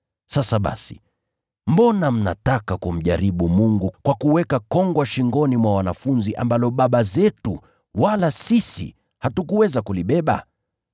Sasa basi, mbona mnataka kumjaribu Mungu kwa kuweka kongwa shingoni mwa wanafunzi ambalo baba zetu wala sisi hatukuweza kulibeba?